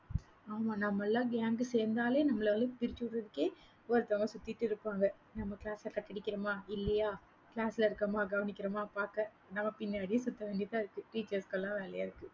ஆமா, நம்ம எல்லாம் gang சேர்ந்தாலே நம்மளை வந்து பிரிச்சுவிடுறதுக்கே, ஒருத்தவங்க சுத்திட்டு இருப்பாங்க நம்ம class அ cut அடிக்கிறோமா இல்லையா? class ல இருக்கோமா கவனிக்கிறோமா பார்க்க நம்ம பின்னாடியே சுத்த வேண்டியதா இருக்கு. teachers க்கு எல்லாம் வேலையா இருக்கு.